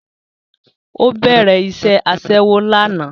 Ó bẹ̀rẹ̀ iṣẹ́ Aṣẹ́wó lánàá